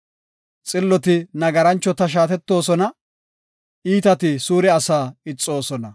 Xilloti nagaranchota shaatettoosona; iitati suure asaa ixoosona.